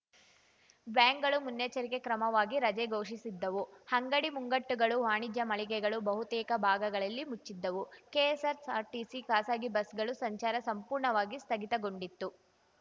ಬ್ಯಾಂಕ್‌ಗಳು ಮುನ್ನೆಚ್ಚರಿಕೆ ಕ್ರಮವಾಗಿ ರಜೆ ಘೋಷಿಸಿದ್ದವು ಅಂಗಡಿ ಮುಂಗಟ್ಟುಗಳು ವಾಣಿಜ್ಯ ಮಳಿಗೆಗಳು ಬಹುತೇಕ ಭಾಗಗಳಲ್ಲಿ ಮುಚ್ಚಿದ್ದವು ಕೆಎಸ್‌ಆರ್‌ಟಿಸಿ ಖಾಸಗಿ ಬಸ್‌ಗಳು ಸಂಚಾರ ಸಂಪೂರ್ಣವಾಗಿ ಸ್ಥಗಿತಗೊಂಡಿತ್ತು